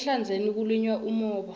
ehlandzeni kulinywa umhoba